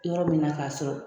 Yɔrɔ min na k'a sɔrɔ